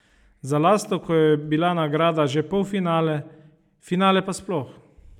Za Lastovko je bila nagrada že polfinale, finale pa sploh.